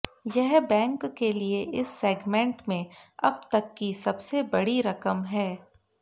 यह बैंक के लिए इस सेगमेंट में अब तक की सबसे बड़ी रकम है